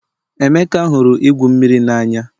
Emeka hụrụ igwu mmiri n'anya